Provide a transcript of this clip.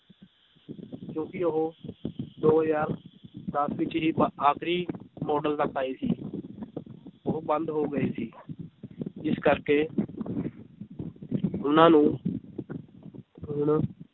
ਕਿਉਂਕਿ ਉਹ ਦੋ ਹਜ਼ਾਰ ਦਸ ਵਿੱਚ ਬ~ ਆਖ਼ਰੀ ਮਾਡਲ ਤੱਕ ਆਏ ਸੀ ਉਹ ਬੰਦ ਹੋ ਗਏ ਸੀ ਜਿਸ ਕਰਕੇ ਉਹਨਾਂ ਨੂੰ ਹੁਣ